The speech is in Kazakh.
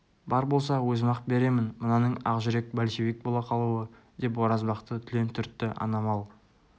бар болса өзім-ақ беремін мынаның ақ жүрек большевик бола қалуы деп оразбақты түлен түртті ана мал